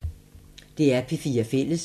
DR P4 Fælles